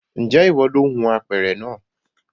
Ǹjẹ́ ìwọ lo hun apẹ̀rẹ̀ naa